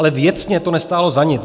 Ale věcně to nestálo za nic.